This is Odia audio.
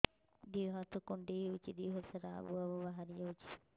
ଦିହ ହାତ କୁଣ୍ଡେଇ ହଉଛି ଦିହ ସାରା ଆବୁ ଆବୁ ବାହାରି ଯାଉଛି